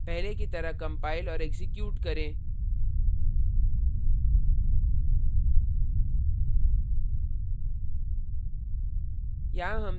पहले की तरह कंपाइल और एक्जीक्यूट करें